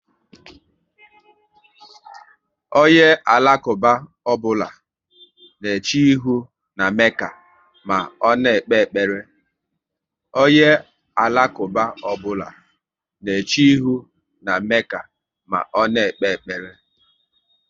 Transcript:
Onye Alakuba ọbụla na eche ihu na Mekka ma ọ na ekpe ekpere